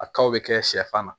A kaw bɛ kɛ sɛfan na